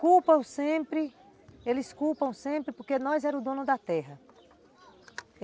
Culpam sempre, eles culpam sempre porque nós éramos o dono da terra.